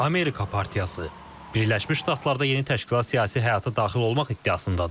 Amerika partiyası Birləşmiş Ştatlarda yeni təşkilat siyasi həyata daxil olmaq iddiasındadır.